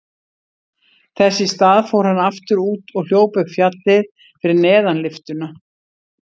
Þess í stað fór hann aftur út og hljóp upp fjallið fyrir neðan lyftuna.